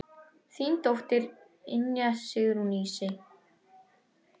Þín dóttir, Ynja Sigrún Ísey.